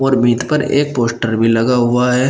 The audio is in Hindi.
और भीत पर एक पोस्टर भी लगा हुआ है।